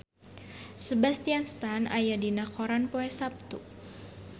Sebastian Stan aya dina koran poe Saptu